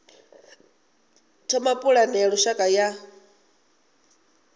thoma pulane ya lushaka ya